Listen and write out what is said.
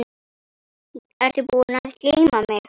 Ertu búinn að gleyma mig?